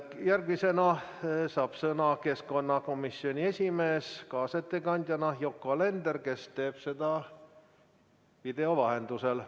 Järgmisena saab kaasettekandjana sõna keskkonnakomisjoni esimees Yoko Alender, kes teeb seda video vahendusel.